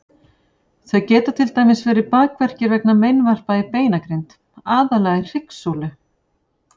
Þau geta til dæmis verið bakverkir vegna meinvarpa í beinagrind, aðallega í hryggsúlu.